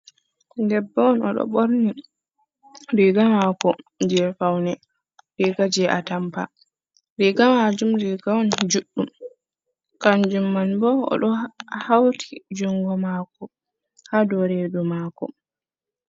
Debbo on odo borni riga mako je faune, riga je a tampa riga majum riga on juddum kanjum man bo o do hauti jungo mako ha do redu mako.